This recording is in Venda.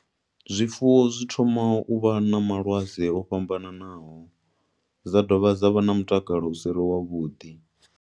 Zwifuwo zwi thoma u vha na malwadze o fhambananaho, zwa dovha zwa vha na mutakalo u savhi wavhuḓi.